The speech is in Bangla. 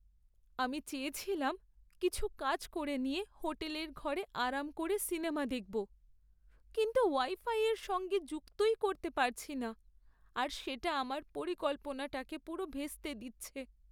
আমি চেয়েছিলাম কিছু কাজ করে নিয়ে হোটেলের ঘরে আরাম করে সিনেমা দেখব, কিন্তু ওয়াইফাইয়ের সঙ্গে যুক্তই করতে পারছি না আর সেটা আমার পরিকল্পনাটাকে পুরো ভেস্তে দিচ্ছে।